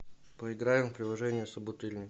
поиграем в приложение собутыльник